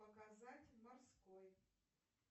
показать морской